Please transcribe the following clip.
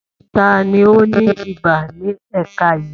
Ta ni ó ní ibà ní ẹ̀ka yìí?